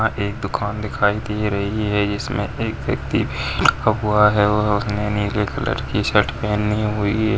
यहा एक दुकान दिखाई दे रही है जिसमे एक व्यक्ति और उसने नीले कलर की शर्ट पहनी हुई है।